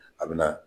A bɛ na